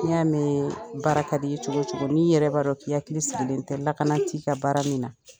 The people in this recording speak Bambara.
Ni y'a mɛn baara ka d'i ye cogo cogo n'i yɛrɛ b'a dɔn k'i' hakili sigilen tɛ lakana t'i ka baara min na